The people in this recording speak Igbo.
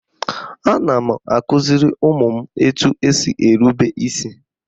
Ana m akụziri ụmụ m etu esi erube isi